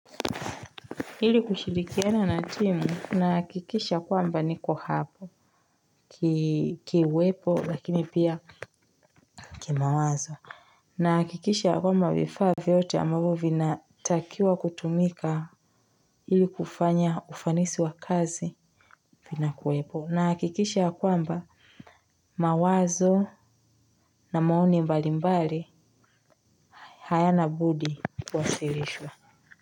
Ili kushilikiana na timu na hakikisha kwamba niko hapo. Kiuwepo lakini pia kimawazo na hakikisha kwamba vifaa vyote ambavyo vinatakiwa kutumika ili kufanya ufanisi wa kazi. Vina kuwepo na hakikisha ya kwamba mawazo na maoni mbalimbali, hayana budi kuwasilishwa.